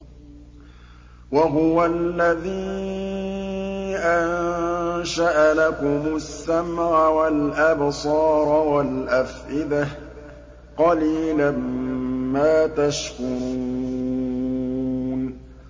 وَهُوَ الَّذِي أَنشَأَ لَكُمُ السَّمْعَ وَالْأَبْصَارَ وَالْأَفْئِدَةَ ۚ قَلِيلًا مَّا تَشْكُرُونَ